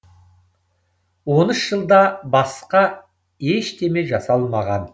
он үш жылда басқа ештеме жасалмаған